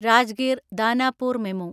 Rajgir Danapur MEMU